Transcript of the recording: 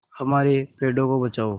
हमारे पेड़ों को बचाओ